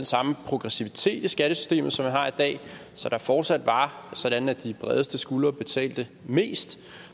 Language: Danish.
samme progressivitet i skattesystemet som man har i dag så det fortsat var sådan at de bredeste skuldre betalte mest